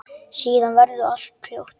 Síðan verður allt hljótt.